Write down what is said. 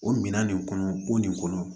O minan nin kɔnɔ o nin kɔnɔ